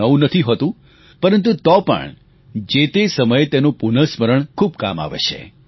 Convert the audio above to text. નવું નથી હોતું પરંતુ તો પણ જે તે સમયે તેનું પુનઃસ્મરણ ખૂબ કામ આવે છે